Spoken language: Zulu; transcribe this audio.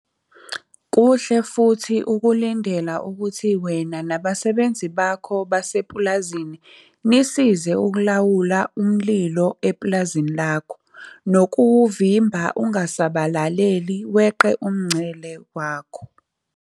Kuhle futhi ukulindela ukuthi wena nabasebenzi bakho basepulazini nisize ukulawula umlilo epulazini lakho nokuwumvimba ungasabalaleli weqe umncele wakho.